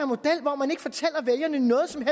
model hvor man ikke fortæller vælgerne noget som